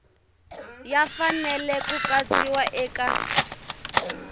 ya fanele ku katsiwa eka